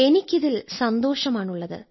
എനിക്ക് ഇതിൽ സന്തോഷമാണുള്ളത്